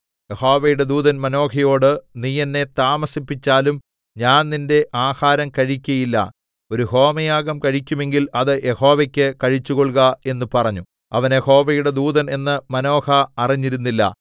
യഹോവയുടെ ദൂതൻ മാനോഹയോട് നീ എന്നെ താമസിപ്പിച്ചാലും ഞാൻ നിന്റെ ആഹാരം കഴിക്കയില്ല ഒരു ഹോമയാഗം കഴിക്കുമെങ്കിൽ അത് യഹോവയ്ക്ക് കഴിച്ചുകൊൾക എന്ന് പറഞ്ഞു അവൻ യഹോവയുടെ ദൂതൻ എന്ന് മാനോഹ അറിഞ്ഞിരുന്നില്ല